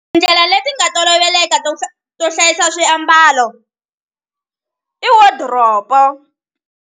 Tindlela leti nga toloveleka to to hlayisa swiambalo i wodiropo.